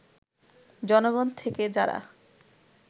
জনগণ থেকে যারা